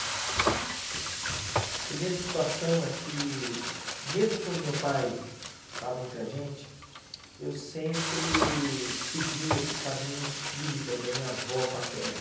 A primeira situação é que, mesmo quando meu pai estava entre a gente, eu sempre segui esse caminho espírita da minha avó paterna.